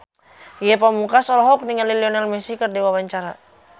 Ge Pamungkas olohok ningali Lionel Messi keur diwawancara